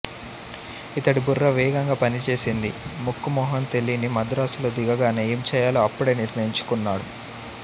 ఇతడి బుర్ర వేగంగా పనిచేసింది ముక్కూ మొహం తెలీని మద్రాసులో దిగగానే ఏం చెయ్యాలో అప్పుడే నిర్ణయించుకున్నాడు